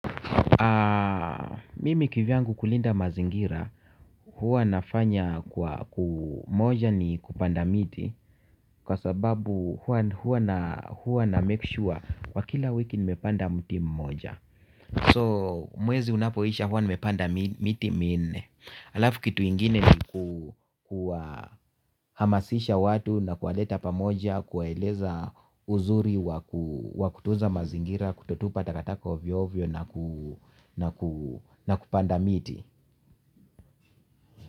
Mimi kivyangu kulinda mazingira huwa nafanya kwa moja ni kupanda miti kwa sababu huwa huwa na make sure kwa kila wiki nimepanda mti mmoja so mwezi unapoisha huwa nimepanda miti minne. Halafu kitu ingine ni kuwahamasisha watu na kuwaleta pamoja kuwaeleza uzuri wa kutunza mazingira kutotupa takataka ovyo ovyo na kupanda miti.